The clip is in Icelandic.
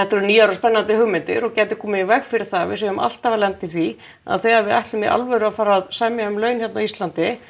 eru nýjar og spennandi hugmyndir og gætu komið í veg fyrir það að við séum alltaf að lenda í því að þegar við ætlum í alvöru að fara að semja um laun hérna á Íslandi